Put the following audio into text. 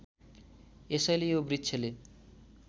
यसैले यो वृक्षले